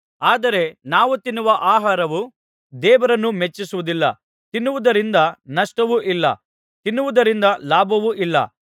ಆದರೆ ನಾವು ತಿನ್ನುವ ಆಹಾರವು ದೇವರನ್ನು ಮೆಚ್ಚಿಸುವುದಿಲ್ಲ ತಿನ್ನದಿರುವುದರಿಂದ ನಷ್ಟವೂ ಇಲ್ಲ ತಿನ್ನುವುದರಿಂದ ಲಾಭವೂ ಇಲ್ಲ